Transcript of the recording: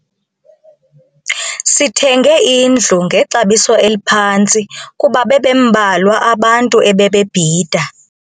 Sithenge indlu ngexabiso eliphantsi kuba bebembalwa abantu ebebebhida.